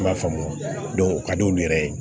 I m'a faamu o ka di olu yɛrɛ ye